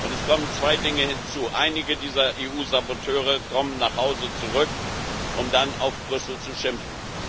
Es kommen zwei Dinge hinzu Einige dieser EU Saboteure kommen nach Hause zurück, um dann auf Brüssel zu schimpfen.